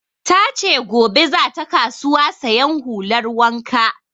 Ta ce gobe za ta kasuwa sayan hular wanka